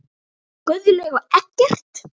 Guðlaug og Eggert.